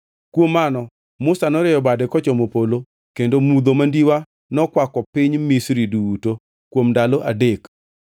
Kuom mano Musa norieyo bade kochomo polo kendo mudho mandiwa nokwako piny Misri duto kuom ndalo adek.